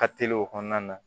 Ka teli o kɔnɔna na